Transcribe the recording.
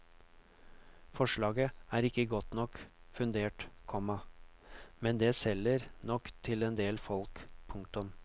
Forslaget er ikke godt nok fundert, komma men det selger nok til endel folk. punktum